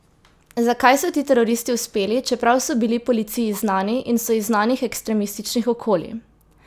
Zakaj so ti teroristi uspeli, čeprav so bili policiji znani in so iz znanih ekstremističnih okolij?